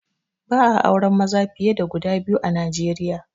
Ba'a auren maza fiye da guda biyu a Nijeriya